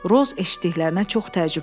Roz eşitdiklərinə çox təəccübləndi.